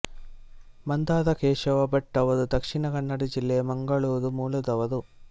ಮಂದಾರ ಕೇಶವ ಭಟ್ ಅವರು ದಕ್ಷಿಣ ಕನ್ನಡ ಜಿಲ್ಲೆಯ ಮಂಗಳೂರು ಮೂಲದವರು